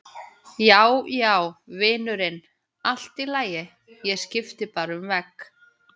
Já, já, vinurinn, allt í lagi, ég skipti bara um vegg.